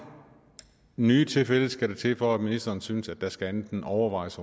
nye tilfælde skal der til for at ministeren synes at der skal ske andet end overvejes